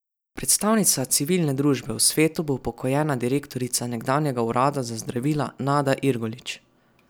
Predstavnica civilne družbe v svetu bo upokojena direktorica nekdanjega urada za zdravila Nada Irgolič.